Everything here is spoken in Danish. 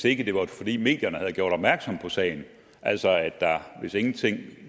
ikke var fordi medierne havde gjort opmærksom på sagen altså hvis ingenting